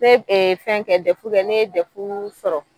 Ne e fɛn kɛ dɛfu kɛ ne ye dɛfu sɔrɔ.